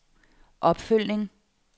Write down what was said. opfølgning